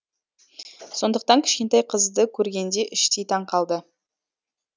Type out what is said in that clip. сондықтан кішкентай қызды көргенде іштей таң қалды